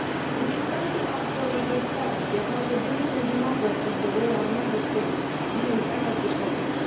It is time to ask for more transparency, accountability and democracy in the way our Member States deal with energy policy.